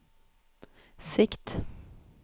sikt